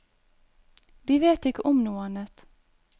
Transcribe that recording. De vet ikke om noe annet.